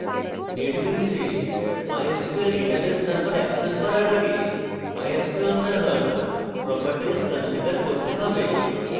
netbeans এ mysql database server access করার আগে mysql server properties configure করতে হবে